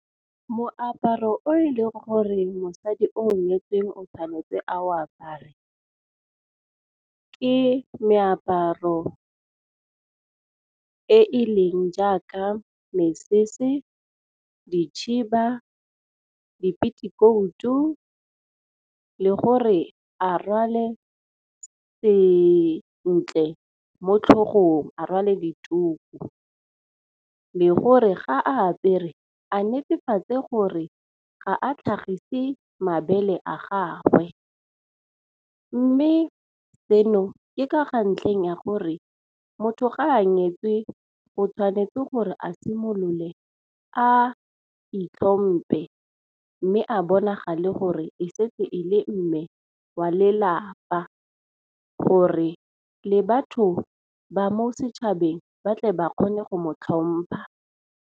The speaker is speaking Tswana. Moaparo o e leng gore mosadi o nyetsweng o tshwanetse a o apare, ke meaparo ka e leng jaaka mesese, dikhiba, dipetikoutu le gore a rwale sentle mo tlhogong, a rwale dituku. Le gore ga a apere a netefatse gore ga a tlhagise mabele a gagwe, mme seno ke ka ga ntlheng ya gore motho ga a nyetswe go tshwanetse gore a simolole a itlhomphe. Mme a bonagale gore e setse e le mme wa lelapa, gore le batho ba mo setšhabeng ba tle ba kgone go mo tlhompha.